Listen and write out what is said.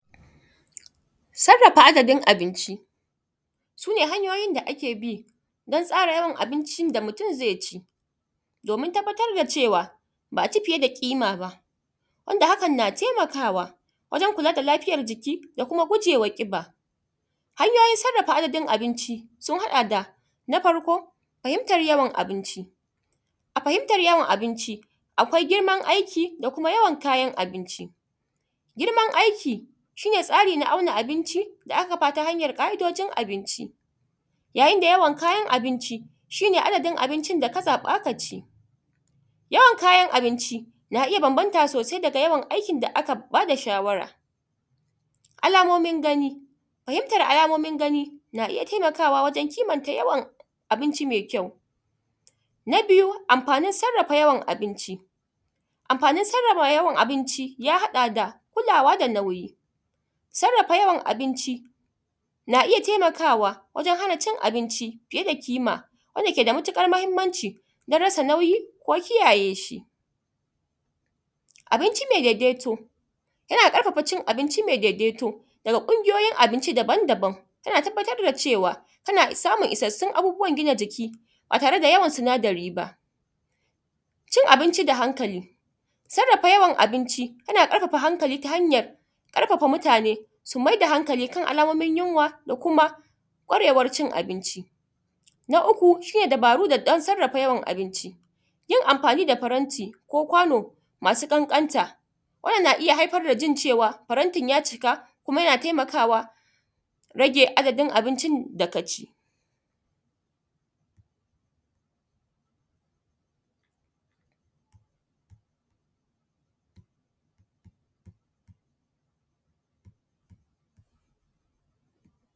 Sarrafa adadin abinci su ne hanyoyin da ake bi don tsara yawan abincin da mutun zai ci domin tabbatar da cewa ba aci fiye da ƙimaba wanda hakan na gtaimakawa wajen kula da lafiyan jiki da kuma gujewa ƙiba. Hanyoyin sarrafa adadin abinci sun haɗa: da na farko fahimtan uawan abinci a fahimtan yawan abinci akwai girman aiki da kuma yawan kayan abinci, girman aiki shi ne tsari na auna abinci a sarrafa ta hayan ƙa’idojin abinci yayin da yawan kayan abinci shi ne adadin abincin da ka zaɓa ka ci, yawan kayan abinci na iya banabanta daga yanayin aikin da aka ba da shawara. Alamomin gani, fahimtan alamomin gani na iya taimakawa wajen fahimyan yawan abincin mai kyau na biyu anfanin sarrafa yawan abinci ya haɗa da kulawa da nauyi sarrafa yawan abinci na iya taimkawa wajen hana cin abinci fiye da ƙima wanda keda matuƙar mahinmanci don rasa nauyi ko kiyayeshi abinci mai daidaito yana ƙafafa cin abinci mai daidaito daga ƙungiyoyin abinci daban-daban na tabbatar da cewa tana samun isassun abubuwan gina jiki ba tare da yawan sinadari ba, cin abinci da hankali sarrafa yawan abinci yana ƙarfafa hankali ta hanyan ƙarfafa mutane su mai da hankali kan alamomin yunwa da kuma kwarewan cin abinci. Na uku shirya dubaru don shirya yawan abinci yin anfani da faranti ko kwano masu ƙanƙanta wannan na iya haifar da jin cewa farantin ya cika kuma yana taimkawa rage adadin abincin da ka ci.